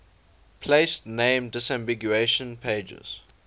place name disambiguation pages